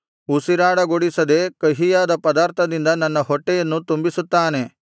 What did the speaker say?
ಉಸಿರಾಡಗೊಡಿಸದೆ ಕಹಿಯಾದ ಪದಾರ್ಥದಿಂದ ನನ್ನ ಹೊಟ್ಟೆಯನ್ನು ತುಂಬಿಸುತ್ತಾನೆ